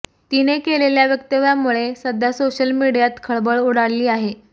तिने केलेल्या वक्तव्यामुळे सध्या सोशल मीडियात खळबळ उडाली आहे